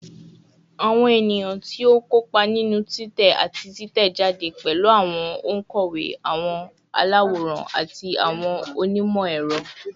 Awọn eniyan ti o kopa ninu titẹ ati titẹjade pẹlu awọn onkọwe, awọn alaworan, ati awọn onimọ-ẹrọ